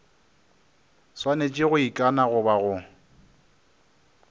swanetše go ikana goba go